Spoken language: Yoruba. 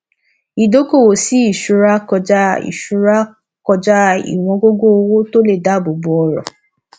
ìdókòwò sí ìṣúra kọjá ìṣúra kọjá iwòn gógó owó tó lè dáàbò bò ọrọ